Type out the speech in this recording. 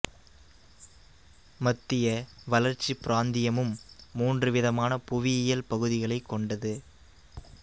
மத்திய வளர்ச்சி பிராந்தியமும் மூன்று விதமான புவியியல் பகுதிகளைக் கொண்டது